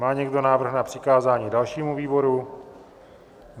Má někdo návrh na přikázání dalšímu výboru?